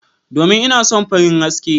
Domin ina son farin haske.